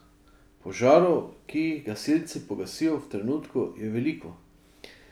Požarov, ki jih gasilci pogasijo v trenutku, je veliko.